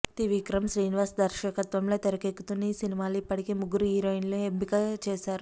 త్రివిక్రమ్ శ్రీనివాస్ దర్శకత్వంలో తెరకెక్కుతున్న ఈ సినిమాలో ఇప్పటికే ముగ్గురు హీరోయిన్లు ఎంపిక చేశారు